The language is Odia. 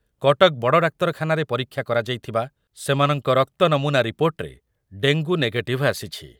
କଟକ ବଡ଼ଡାକ୍ତରଖାନାରେ ପରୀକ୍ଷା କରାଯାଇଥିବା ସେମାନଙ୍କ ରକ୍ତ ନମୁନା ରିପୋର୍ଟରେ ଡେଙ୍ଗୁ ନେଗେଟିଭ୍ ଆସିଛି ।